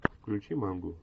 включи мангу